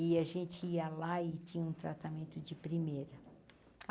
E a gente ia lá e tinha um tratamento de primeira.